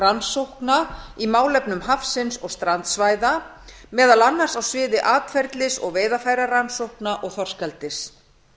rannsókna á málefnum hafsins og strandsvæða meðal annars á sviði atferlis og veiðarfærarannsókna og þorskeldis